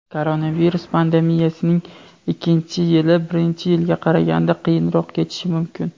Koronavirus pandemiyasining ikkinchi yili birinchi yiliga qaraganda qiyinroq kechishi mumkin.